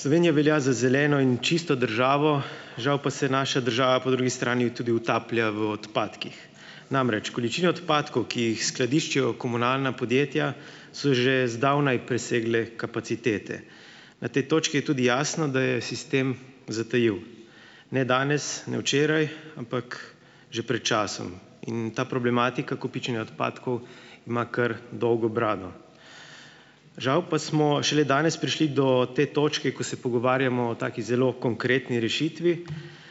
Slovenija velja za zeleno in čisto državo, žal pa se naša država po drugi strani tudi utaplja v odpadkih. Namreč, količina odpadkov, ki jih skladiščijo komunalna podjetja, so že zdavnaj presegle kapacitete. Na tej točki je tudi jasno, da je sistem zatajil ne danes, ne včeraj, ampak že pred časom, in ta problematika kopičenja odpadkov ima kar dolgo brado. Žal pa smo šele danes prišli do te točke, ko se pogovarjamo o taki zelo konkretni rešitvi,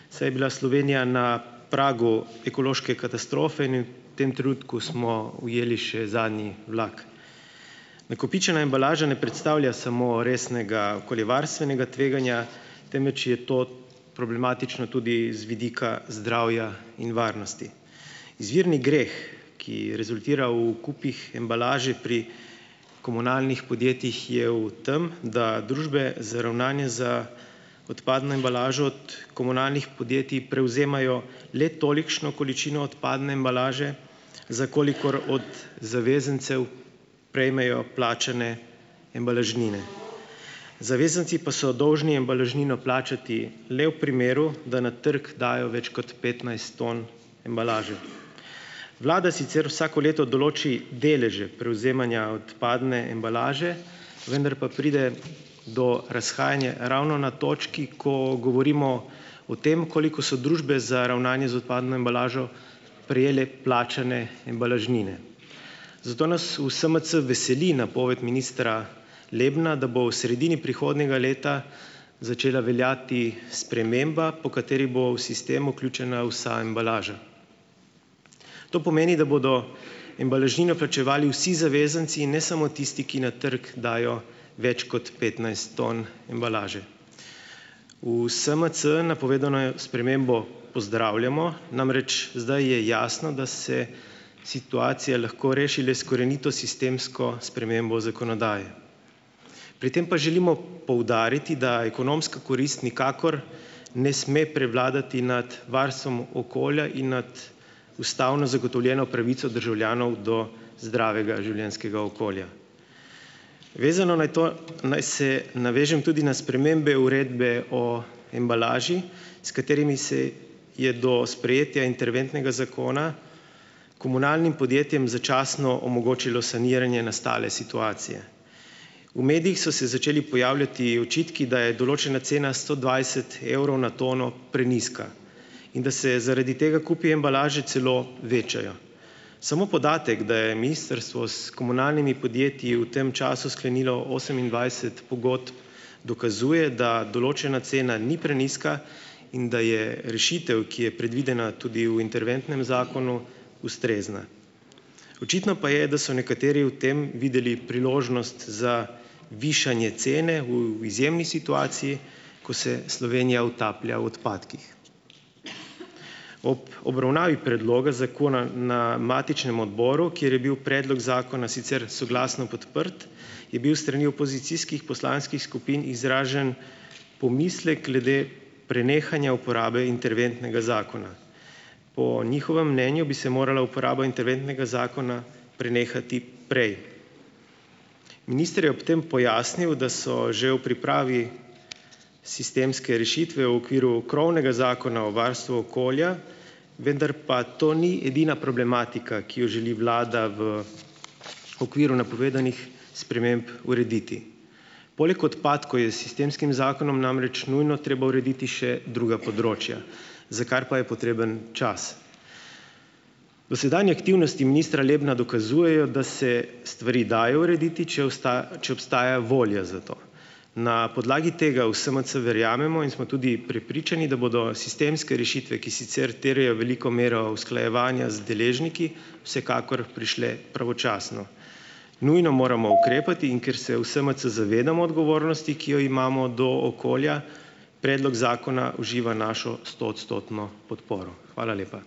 saj je bila Slovenija na pragu ekološke katastrofe in je v tem trenutku smo ujeli še zadnji vlak. Nakopičena embalaža ne predstavlja samo resnega okoljevarstvenega tveganja, temveč je to problematično tudi z vidika zdravja in varnosti. Izvirni greh, ki rezultira v kupih embalaže pri komunalnih podjetjih, je v tem, da družbe z ravnanje za odpadno embalažo od komunalnih podjetij prevzemajo le tolikšno količino odpadne embalaže, za kolikor od zavezancev prejmejo plačane embalažnine. Zavezanci pa so dolžni embalažnino plačati le v primeru, da na trgu dajo več kot petnajst ton embalaže. Vlada sicer vsako leto določi deleže prevzemanja odpadne embalaže, vendar pa pride do razhajanja ravno na točki, ko govorimo o tem, koliko so družbe za ravnanje z odpadno embalažo prejele plačane embalažnine. Zato nas v SMC veseli napoved ministra Lebna, da bo v sredini prihodnjega leta začela veljati sprememba, po kateri bo v sistem vključena vsa embalaža. To pomeni, da bodo embalažnino plačevali vsi zavezanci, ne samo tisti, ki na trgu dajo več kot petnajst ton embalaže. V SMC napovedano je spremembo pozdravljamo, namreč zdaj je jasno, da se situacija lahko reši le s korenito sistemsko spremembo zakonodaje. Pri tem pa želimo poudariti, da ekonomska korist nikakor ne sme prevladati nad varstvom okolja in nad ustavno zagotovljeno pravico državljanov do zdravega življenjskega okolja. Vezano naj to naj se navežem tudi na spremembe uredbe o embalaži, s katerimi se je do sprejetja interventnega zakona komunalnim podjetjem začasno omogočilo saniranje nastale situacije. V medijih so se začeli pojavljati očitki, da je določena cena sto dvajset evrov na tono prenizka. In da se zaradi tega kupi embalaže celo večajo. Samo podatek, da je ministrstvo s komunalnimi podjetji v tem času sklenilo osemindvajset pogodb dokazuje, da določena cena ni prenizka in da je rešitev, ki je predvidena tudi v interventnem zakonu, ustrezna. Očitno pa je, da so nekateri v tem videli priložnost za višanje cene v izjemni situaciji, ko se Slovenija utaplja v odpadkih. Ob obravnavi predloga zakona na matičnem odboru, kjer je bil predlog zakona sicer soglasno podprt, je bil strani opozicijskih poslanskih skupin izražen pomislek glede prenehanja uporabe interventnega zakona. Po njihovem mnenju bi se morala uporaba interventnega zakona prenehati prej. Minister je ob tem pojasnil, da so že v pripravi sistemske rešitve v okviru krovnega zakona o varstvu okolja, vendar pa to ni edina problematika, ki jo želi vlada v okviru napovedanih sprememb urediti. Poleg odpadkov je s sistemskim zakonom namreč nujno treba urediti še druga področja, za kar pa je potreben čas. Dosedanje aktivnosti ministra Lebna dokazujejo, da se stvari dajo urediti, če če obstaja volja za to. Na podlagi tega v SMC verjamemo in smo tudi prepričani, da bodo sistemske rešitve, ki sicer terjajo veliko mero usklajevanja z deležniki, vsekakor prišle pravočasno. Nujno moramo ukrepati in ker se v SMC zavedamo odgovornosti, ki jo imamo do okolja, predlog zakona uživa našo stoodstotno podporo. Hvala lepa.